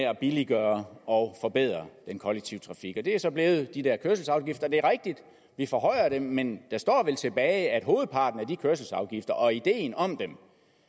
at billiggøre og forbedre den kollektive trafik det er så blevet de der kørselsafgifter og det er rigtigt at vi forhøjer dem men det står vel tilbage at hovedparten af de kørselsafgifter og ideen om dem